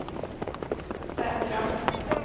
säkra